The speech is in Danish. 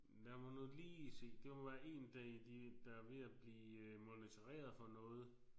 Lad mig nu lige se det må være en det de der er ved at blive monitoreret for noget